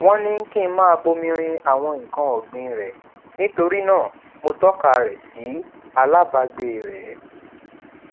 wón ní kí n máa bomi rin àwọn nnkan ọgbìn rè nítorí náà mo tọka rẹ sí alábàgbé rè